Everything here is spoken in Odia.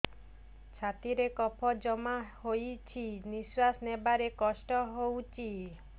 ଛାତିରେ କଫ ଜମା ହୋଇଛି ନିଶ୍ୱାସ ନେବାରେ କଷ୍ଟ ହେଉଛି